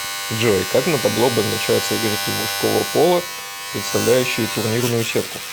джой как на табло обозначаются игроки мужского пола представляющие турнирную сетку